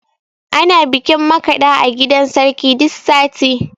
Ana bikin makaɗa a gidan sarki duk sati